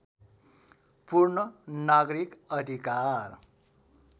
पूर्ण नागरिक अधिकार